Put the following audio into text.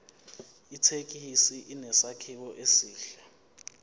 ithekisi inesakhiwo esihle